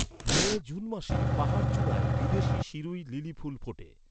মে, June মাসে পাহাড়চূড়ায় বিদেশী শিরুই লিলি ফুল ফোটে।